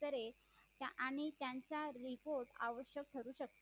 आणि त्यांचा report आवश्यक ठरू शकतो